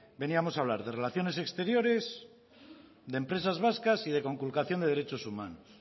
veníamos a hablar de relaciones exteriores de empresas vascas y de conculcación de derechos humanos